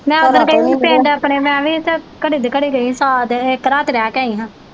ਮੈ ਓਦਣ ਗਈ ਹੀ ਪਿੰਡ ਮੈ ਵੀ ਤੇ ਘੜੀ ਦੀ ਘੜੀ ਸਾ ਦਿਨ ਇੱਕ ਰਾਤ ਰਹਿ ਕੇ ਆਈ ਹਾਂ।